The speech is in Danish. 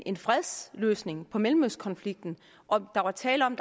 en fredsløsning på mellemøstkonflikten og der var tale om